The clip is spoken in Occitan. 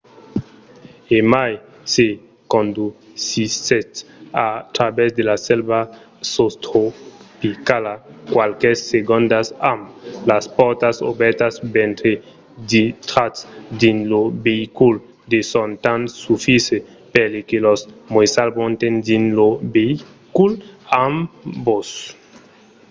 e mai se condusissètz a travèrs de la selva sostropicala qualques segondas amb las pòrtas obèrtas mentre dintratz dins lo veïcul son de temps sufisent per que los moissals monten dins lo veïcul amb vos